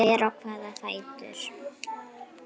Hver á hvaða fætur?